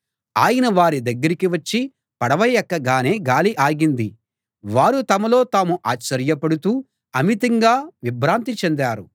ఆయన వారి దగ్గరికి వచ్చి పడవ ఎక్కగానే గాలి ఆగింది వారు తమలో తాము ఆశ్చర్యపడుతూ అమితంగా విభ్రాంతి చెందారు